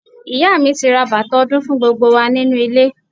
Ìyá mi ti ra bàtà ọdún fún gbogbo wa nínú ilé.